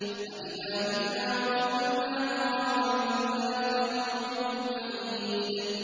أَإِذَا مِتْنَا وَكُنَّا تُرَابًا ۖ ذَٰلِكَ رَجْعٌ بَعِيدٌ